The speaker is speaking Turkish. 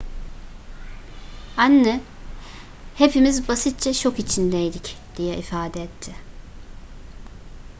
anne hepimiz basitçe şok içindeydik diye ifade etti